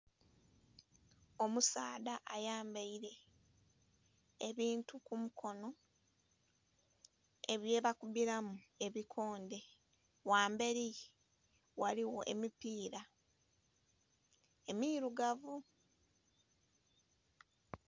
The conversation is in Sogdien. Omusaadha ayambaire ebintu ku mukonho bye bakubbulamu ebikondhe, ghamberi ghaligho emipira emirugavu.